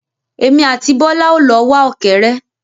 Èmi àti Bọ́lá o lọ wá ọ̀kẹ́ré.